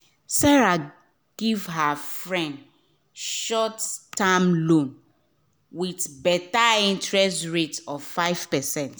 sarah give her friends short-term loan with better interest rate of 5%